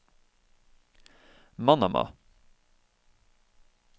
Manama